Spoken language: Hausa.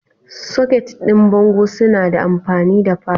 Soket din bango suna da amfani da falo